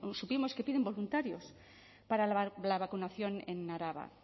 supimos que piden voluntarios para la vacunación en araba